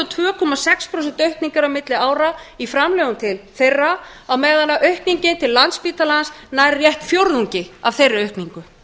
tvö komma sex prósenta aukning er á milli ára í framlögum til þeirra á meðan aukningin til landspítalans nær rétt fjórðungi af þeirri aukningu